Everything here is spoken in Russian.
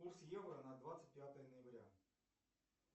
курс евро на двадцать пятое ноября